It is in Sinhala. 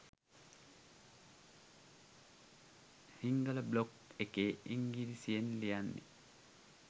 හිංගල බ්ලොග් එකේ ඉංගිරිසියෙන් ලියන්නෙ.